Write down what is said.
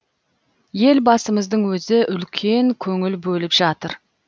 елбасымыздың өзі үлкен көңіл бөліп жатыр